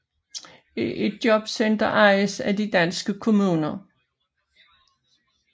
Et jobcenter ejes af de danske kommuner